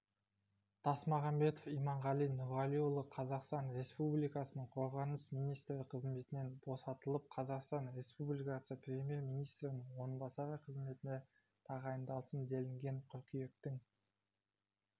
тасмағамбетов иманғали нұрғалиұлы қазақстан республикасының қорғаныс министрі қызметінен босатылып қазақстан республикасы премьер-министрінің орынбасары қызметіне тағайындалсын делінген қыркүйектің